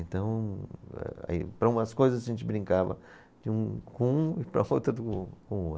Então eh, para umas coisas a gente brincava com um e para outras do ou, com o outro.